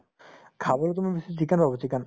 খাবলৈ তুমি বেছি chicken পাবা chicken